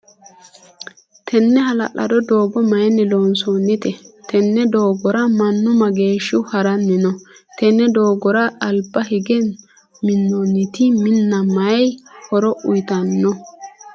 Tinni ha'lalado doogo mayinni loonsoonnite? Tenne doogora Manu mageeshihu haranni no? Tenne doogora alba hige minnantino Minna mayi horo uyitano?